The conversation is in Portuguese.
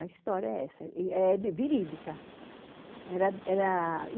A história é essa, e é verídica. Era era